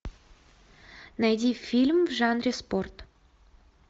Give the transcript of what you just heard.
найди фильм в жанре спорт